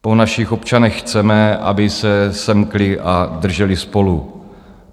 Po našich občanech chceme, aby se semkli a drželi spolu.